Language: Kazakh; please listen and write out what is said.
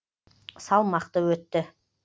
салмақты өтті